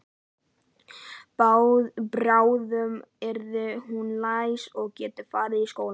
Bráðum yrði hún læs og gæti farið í skóla.